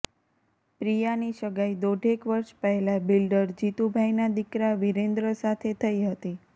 પ્રિયાની સગાઈ દોઢેક વર્ષ પહેલાં બિલ્ડર જીતુભાઈના દીકરા વીરેન્દ્ર સાથે થઈ હતી